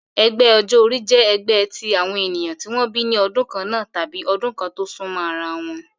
Ẹgbẹ́ ọjọ́ orí jẹ́ ẹgbẹ́ tí àwọn ènìyàn tí wọ́n bí ní ọdún kannáà tàbí ọdún tó súnmọ́ ara wọn